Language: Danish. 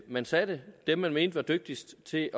man satte dem man mente var dygtigst til